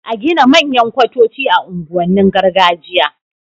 a Gina manyan kwatoci a unguwanin gargajiya